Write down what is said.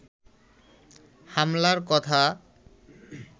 হামলার কথা